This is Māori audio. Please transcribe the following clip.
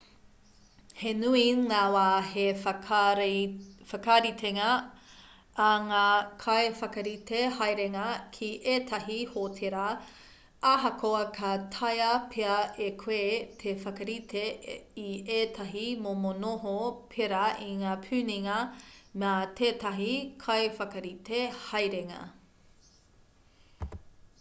he nui ngā wā he whakaritenga ā ngā kaiwhakarite haerenga ki ētahi hōtēra ahakoa ka taea pea e koe te whakarite i ētahi momo noho pērā i ngā puninga mā tētahi kaiwhakarite haerenga